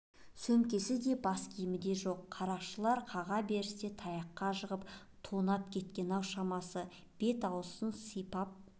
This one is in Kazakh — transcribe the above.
сөмкесі да бас киімі де жоқ қарақшылар қаға берісте таяққа жығып тонап кеткен-ау шамасы бет-аузын сипап